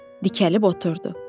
Dikəlib oturdu.